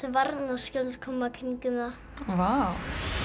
varnarskjöld koma í kringum það vá